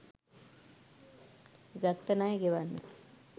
ගත්ත ණය ගෙවන්න.